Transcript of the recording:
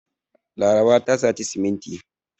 Laraba ta saci siminti.